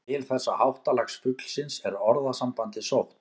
Til þessa háttalags fuglsins er orðasambandið sótt.